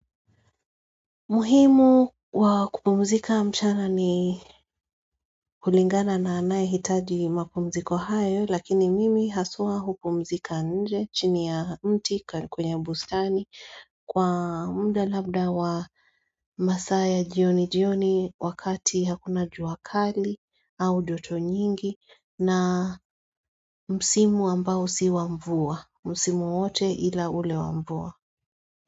Muhimu wa kupumzika mchana ni hulingana na anaye hitaji mapumziko hayo lakini mimi hasua kupumzika nje chini ya mti kwenye bustani kwa mda labda wa masaya jioni jioni wakati hakuna juakali au joto nyingi na msimu ambao si wamvua, msimu wote ila ule wamvua.